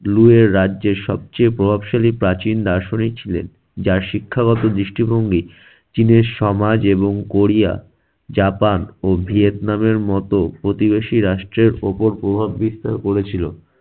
লুইয়ের রাজ্যে সবচেয়ে প্রভাবশালী প্রাচীন দার্শনিক ছিলেন যার শিক্ষাগত দৃষ্টিভঙ্গি চীনের সমাজ এবং কোরিয়া, জাপান ও ভিয়েতনামের মত প্রতিবেশী রাষ্ট্রের ওপর প্রভাব বিস্তার করেছিল।